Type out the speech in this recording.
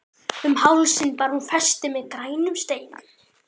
Um hálsinn bar hún festi með grænum steinum.